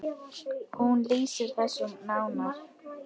Hún lýsir þessu nánar.